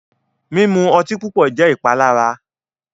Mimu ọtí pupọ jẹ ìpalára.